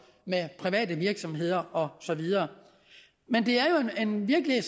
med private virksomheder og så videre men det er jo en virkelighed